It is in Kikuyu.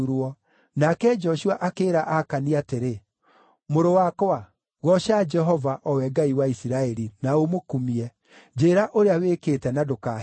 Nake Joshua akĩĩra Akani atĩrĩ, “Mũrũ wakwa, gooca Jehova, o we Ngai wa Isiraeli, na ũmũkumie. Njĩĩra ũrĩa wĩkĩte na ndũkaahithe.”